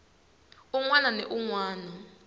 un wana ni un wana